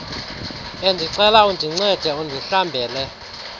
bendicela undincede undihlambele